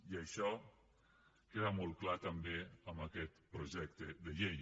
i això queda molt clar també amb aquest projecte de llei